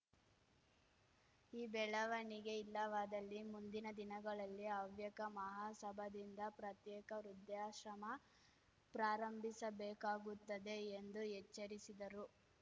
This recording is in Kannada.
ಈ ಬೆಳವಣಿಗೆ ಇಲ್ಲವಾದಲ್ಲಿ ಮುಂದಿನ ದಿನಗಳಲ್ಲಿ ಹವ್ಯಕ ಮಹಾಸಭಾದಿಂದ ಪ್ರತ್ಯೇಕ ವೃದ್ಧಾಶ್ರಮ ಪ್ರಾರಂಭಿಸಬೇಕಾಗುತ್ತದೆ ಎಂದು ಎಚ್ಚರಿಸಿದರು